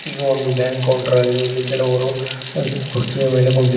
ಇದು ಒಂದು bank counter ಆಗಿದೆ ಇಲ್ಲಿ ಕೆಲವರು ಅ ಕುರ್ಚಿಯ ಮೇಲೆ ಕುಂತಿ--